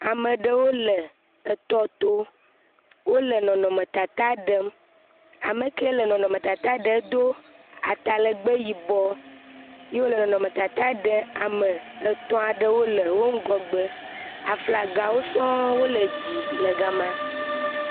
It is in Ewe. Ama ɖewo wole etɔto. Wole nɔnɔmetata ɖem. Ame kee le nɔnɔmetata ɖem dom atalɛgbɛ yibɔɔ ye wòle nɔnɔmetata ɖee ame etɔ̃ aɖewo le yewo ŋgɔgbe. Aflagawo sɔŋ wole dzi le gama.